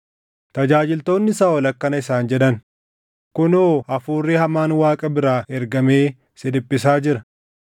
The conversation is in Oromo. Tajaajiltoonni Saaʼol akkana isaan jedhan; “Kunoo hafuurri hamaan Waaqa biraa ergamee si dhiphisaa jira.